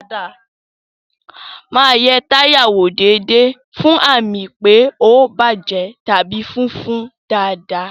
Máa yẹ táyà wò déédéé fún àmì pé ó bàjẹ́ tàbí fúnfun dáadáa